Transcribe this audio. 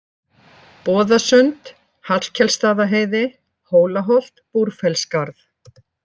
Boðasund, Hallkelsstaðaheiði, Hólaholt, Búrfellsskarð